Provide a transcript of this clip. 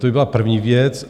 To by byla první věc.